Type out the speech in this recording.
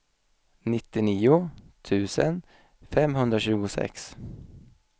nittionio tusen femhundratjugosex